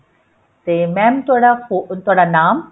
ਤੇ mam ਤੁਹਾਡਾ ਅਹ ਤੁਹਾਡਾ ਨਾਮ